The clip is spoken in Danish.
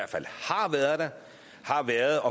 er